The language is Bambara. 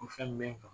O fɛn bɛ kan